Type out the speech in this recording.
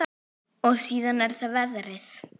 Og síðan er það veðrið.